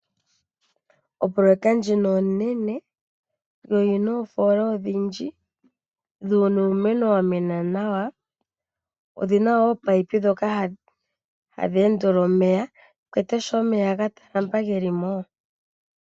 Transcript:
Opoloyeka ndjino onene yo oyina oofola odhindji . Muna uumeno wa mena nawa. Omuna woo ominino ndhoka hadhi endele omeya kuwete sho omeya ga talama geli mo.